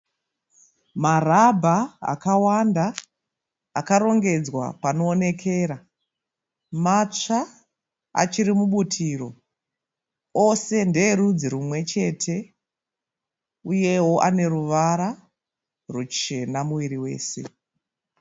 Marabha akawanda akarongedzwa panoonekera, matsva achiri mubutiro. Ose ndeerudzi runwechete uyewo aneruvara rwuchena miviri wese.